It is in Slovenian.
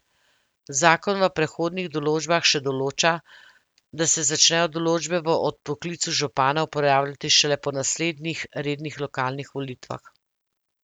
Zakon v prehodnih določbah še določa, da se začnejo določbe o odpoklicu župana uporabljati šele po naslednjih rednih lokalnih volitvah.